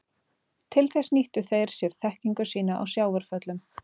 Til þess nýttu þeir sér þekkingu sína á sjávarföllum.